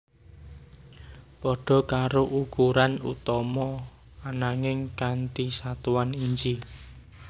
Pada karo ukuran utama anaging kanti satuan inch